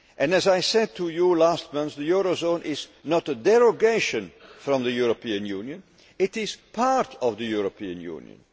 As I said to you last month, the eurozone is not a derogation from the European Union, it is part of the European Union.